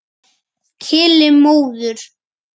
Keli móður.